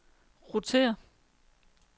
rotér